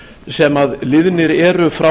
sem liðnir eru frá